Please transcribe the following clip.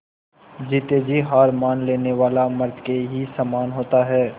जीते जी हार मान लेने वाला मृत के ही समान होता है